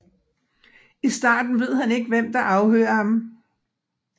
I starten ved han ikke hvem der afhører ham